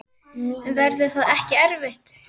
Verður það ekki erfitt?